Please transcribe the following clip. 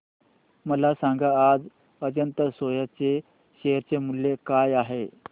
मला सांगा आज अजंता सोया चे शेअर मूल्य काय आहे